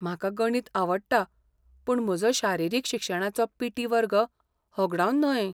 म्हाका गणित आवडटा पूण म्हजो शारिरीक शिक्षणाचो पी. टी. वर्ग होगडावन न्हय.